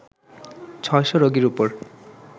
৬০০ রোগীর ওপর